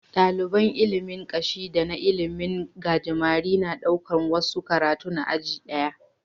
Daliban ilimin Kashi da na ilimin gajimare na ɗaukar wasu karatun a aji daya